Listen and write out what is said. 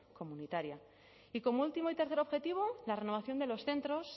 comunitaria y como último y tercer objetivo la renovación de los centros